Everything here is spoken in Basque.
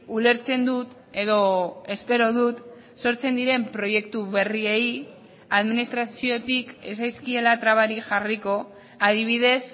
ulertzen dut edo espero dut sortzen diren proiektu berriei administraziotik ez zaizkiela trabarik jarriko adibidez